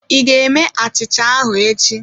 Ị ga-eme achicha ahụ echi